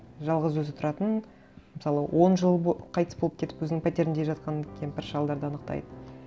жалғыз өзі тұратын мысалы он жыл қайтыс болып кетіп өзінің пәтерінде жатқан кемпір шалдарды анықтайды